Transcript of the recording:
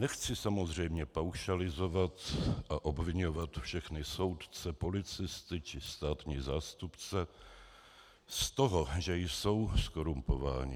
Nechci samozřejmě paušalizovat a obviňovat všechny soudce, policisty či státní zástupce z toho, že jsou zkorumpováni.